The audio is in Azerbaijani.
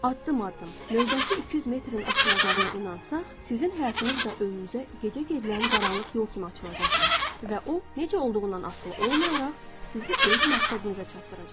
Addım-addım növbəti 200 metrin açılacağına inansaq, sizin həyatınız da önünüzə gecə gedilən qaranlıq yol kimi açılacaqdır və o necə olduğundan asılı olmayaraq sizi öz məqsədinizə çatdıracaq.